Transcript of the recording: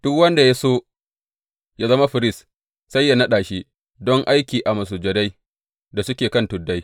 Duk wanda ya so yă zama firist sai yă naɗa shi don aiki a masujadai da suke kan tuddai.